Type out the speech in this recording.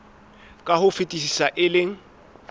ka ho fetisisa e leng